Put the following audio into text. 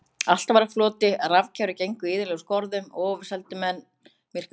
Allt var á floti, rafkerfi gengu iðulega úr skorðum og ofurseldu menn myrkrinu.